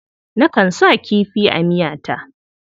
Nakan sa kifi a miyata.